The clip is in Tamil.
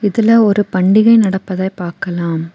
இதுல ஒரு பண்டிகை நடப்பதை பாக்கலாம்.